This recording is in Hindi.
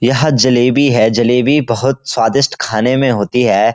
यह जलेबी है जलेबी बहुत स्वादिस्ट खाने में होती है।